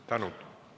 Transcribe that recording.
Tänud!